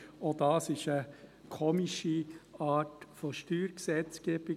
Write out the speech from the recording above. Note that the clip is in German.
Auch dies ist eine komische Art von Steuergesetzgebung.